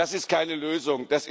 das ist keine Lösung.